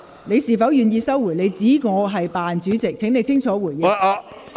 你是否願意收回你指我"扮主席"的言論，請你清楚回應。